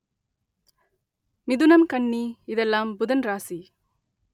மிதுனம் கன்னி இதெல்லாம் புதன் ராசி